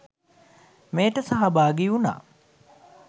මෙයට සහභාගි වුණා